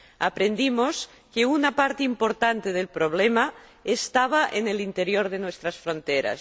Aprendimos que una parte importante del problema estaba en el interior de nuestras fronteras.